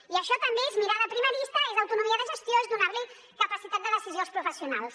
i això també és mirada primarista és autonomia de gestió és donar los capacitat de decisió als professionals